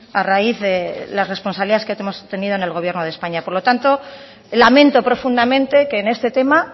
a raíz de las responsabilidades que hemos tenido en el gobierno de españa por lo tanto lamento profundamente que en este tema